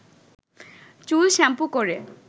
চুল শ্যাম্পু করে